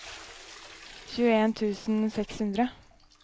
tjueen tusen og seks hundre